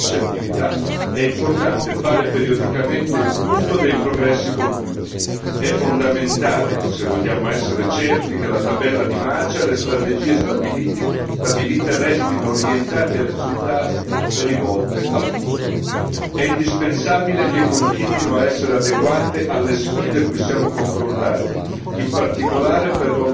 Quando sono in corso molteplici attività, è importante fare periodicamente il punto dei progressi compiuti, è fondamentale se vogliamo essere certi che la tabella di marcia e le strategie stabilite restino orientate a risultati e rivolte al futuro, è indispensabile che esse continuino ad essere adeguate alle sfide cui siamo confrontati,